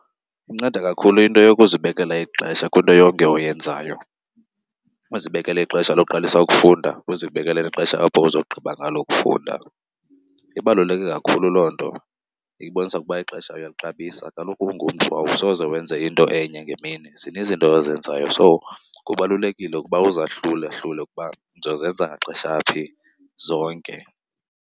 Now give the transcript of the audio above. Inceda kakhulu into yokuzibekela ixesha kwinto yonke oyenzayo. Uzibekele ixesha loqalisa ukufunda, uzibekele ixesha apho uzawugqiba ngalo ukufunda. Ibaluleke kakhulu loo nto ibonisa ukuba ixesha uyalixabisa. Kaloku ungumntu awusoze wenze into enye ngemini, zininzi izinto ozenzayo. So, kubalulekile ukuba uzahlulahlule ukuba ndiza kuzenza ngaxesha phi zonke.